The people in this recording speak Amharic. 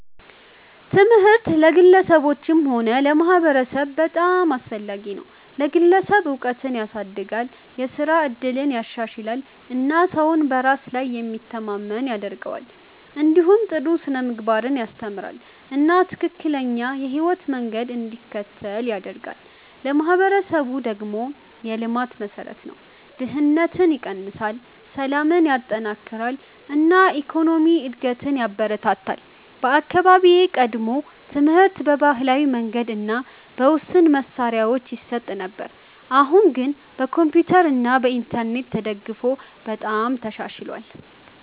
ትምህርት ለግለሰቦችም ሆነ ለማህበረሰብ በጣም አስፈላጊ ነው። ለግለሰብ እውቀትን ያሳድጋል፣ የስራ እድልን ያሻሽላል እና ሰውን በራሱ ላይ የሚተማመን ያደርገዋል። እንዲሁም ጥሩ ስነ-ምግባርን ያስተምራል እና ትክክለኛ የህይወት መንገድ እንዲከተል ይረዳል። ለማህበረሰብ ደግሞ የልማት መሠረት ነው፤ ድህነትን ይቀንሳል፣ ሰላምን ያጠናክራል እና የኢኮኖሚ እድገትን ያበረታታል። በአካባቢዬ ቀድሞ ትምህርት በባህላዊ መንገድ እና በውስን መሳሪያዎች ይሰጥ ነበር፣ አሁን ግን በኮምፒውተር እና በኢንተርኔት ተደግፎ በጣም ተሻሽሏል።